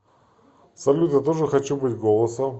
салют я тоже хочу быть голосом